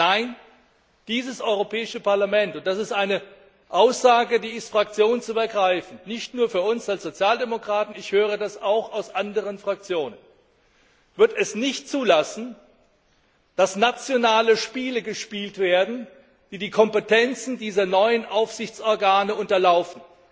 Nein, dieses Europäische Parlament und das ist eine Aussage, die ich fraktionsübergreifend, nicht nur für uns als Sozialdemokraten treffe wird es nicht zulassen, dass nationale Spiele gespielt werden, die die Kompetenzen dieser neuen Aufsichtsorgane unterlaufen.